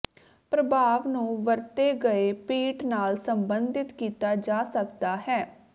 ਪ੍ਰਭਾਵ ਨੂੰ ਵਰਤੇ ਗਏ ਪੀੱਟ ਨਾਲ ਸਬੰਧਿਤ ਕੀਤਾ ਜਾ ਸਕਦਾ ਹੈ